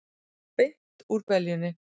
Beint úr beljunni!